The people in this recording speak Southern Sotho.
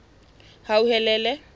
hauhelele